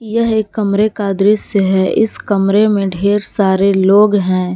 यह एक कमरे का दृश्य है इस कमरे में ढेर सारे लोग हैं।